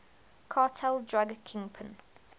cartel drug kingpin